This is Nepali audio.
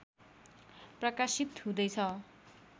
प्रकाशित हुँदैछ